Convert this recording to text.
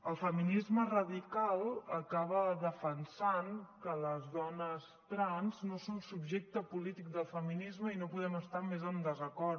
el feminisme radical acaba defensant que les dones trans no són subjecte polític del feminisme i no podem estar hi més en desacord